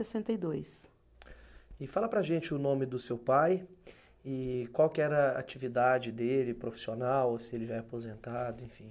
E dois. E fala para a gente o nome do seu pai e qual que era a atividade dele, profissional, se ele já é aposentado, enfim.